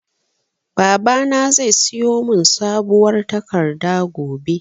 Babana zai siyo mun sabuwar takarda gobe